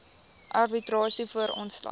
arbitrasie voor ontslag